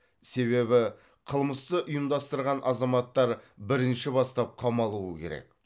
себебі қылмысты ұйымдастырған азаматтар бірінші бастап қамалу керек